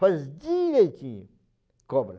faz direitinho, cobra.